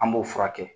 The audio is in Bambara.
An b'o furakɛ